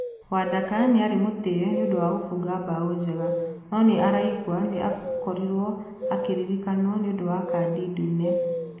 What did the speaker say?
Wadaka nĩ-arĩ mũtiye nĩũndu wa gũbũnga mbao njega, no nĩaraigua nĩarakorwo akĩririkano nĩũndũ wa kadi ndune.